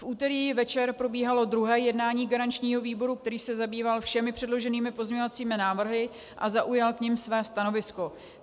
V úterý večer probíhalo druhé jednání garančního výboru, který se zabýval všemi předloženými pozměňovacími návrhy a zaujal k nim své stanovisko.